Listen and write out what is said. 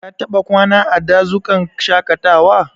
Ka taɓa kwana a dazukan shaƙatawa?